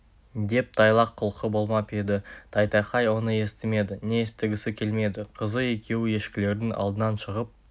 деп тайлақ құлқы болмап еді тайтақай оны естімеді не естігісі келмеді қызы екеуі ешкілердің алдынан шығып